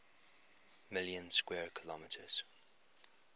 million square kilometers